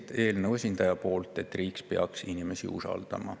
Ja eelnõu esindaja lõppsõna oli, et riik peaks inimesi usaldama.